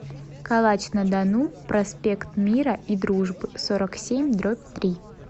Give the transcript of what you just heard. калач на дону проспект мира и дружбы сорок семь дробь три